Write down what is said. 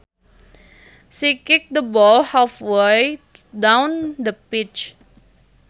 She kicked the ball halfway down the pitch